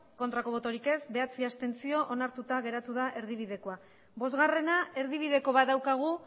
bai bederatzi abstentzio onartuta geratu da erdibidekoa bostgarrena erdibideko bat daukagu